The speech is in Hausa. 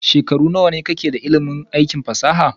Shekaru nawane ka ke da ilimin aikin fasaha da kere-kere?